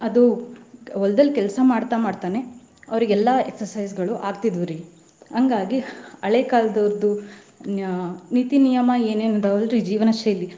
ಅದು ಹೊಲ್ದಲ್ಲಿ ಕೆಲ್ಸಾ ಮಾಡ್ತಾ ಮಾಡ್ತಾನೆ ಅವ್ರಿಗೆಲ್ಲಾ exercise ಗಳು ಆಗ್ತಿದ್ದುವ್ರಿ. ಹಂಗಾಗಿ ಹಳೆ ಕಾಲದವರ್ದ. ನೀತಿ ನಿಯಮ ಏನೇನ್ ಅದಾವ್ ಅಲ್ರಿ ಜೀವನ ಶೈಲಿ.